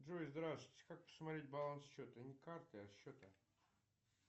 джой здравствуйте как посмотреть баланс счета не карты а счета